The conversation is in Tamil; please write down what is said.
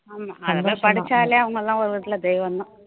ஆமா அதெல்லாம் படிச்சாலே அவுங்க எல்லாம் ஒரு விதத்துல தெய்வம் தான்